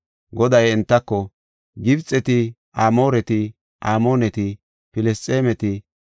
Goday entako, “Gibxeti, Amooreti, Amooneti, Filisxeemeti,